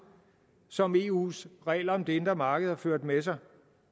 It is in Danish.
som eus regler om det indre marked har ført med sig